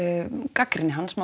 gagnrýni hans má